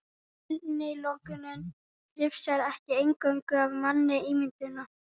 Innilokunin hrifsar ekki eingöngu af manni ímyndunina.